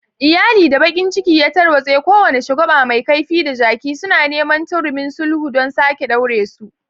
Iyali da bakin ciki ya tarwatse, kowane shagwaba mai kaifi da jaki, suna neman turmin sulhu don sake ɗaure su.